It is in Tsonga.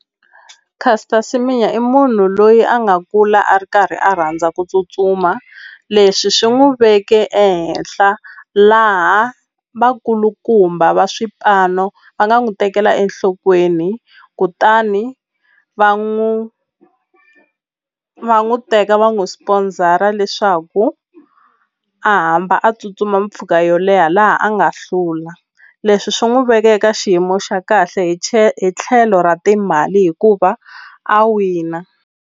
Caster Semenya i munhu loyi a nga kula a ri karhi a rhandza ku tsutsuma leswi swi n'wi veke ehenhla laha vakulukumba va swipano va nga n'wi tekela enhlokweni kutani va n'wi va n'wi teka va n'wu sponsor-a leswaku a hamba a tsutsuma mpfhuka yo leha laha a nga hlula leswi swi n'wi veka eka xiyimo xa kahle hi hi tlhelo ra timali hikuva a wina.